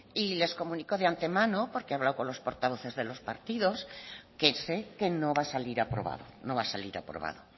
y les comunico de antemano porque he hablado con los portavoces de los partidos que sé que no va a salir aprobado no va a salir aprobado